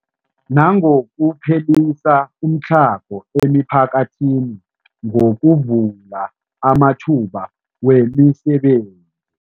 Nangokuphelisa umtlhago emiphakathini ngokuvula amathuba wemisebenzi.